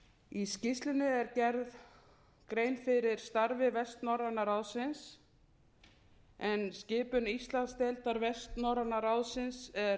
í skýrslunni er gerð grein fyrir starfi vestnorræna ráðsins en skipun íslandsdeildar vestnorræna ráðsins er